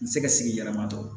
N tɛ se ka sigi yɛrɛmatɔ